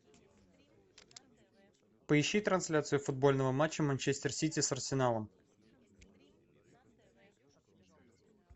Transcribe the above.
поищи трансляцию футбольного матча манчестер сити с арсеналом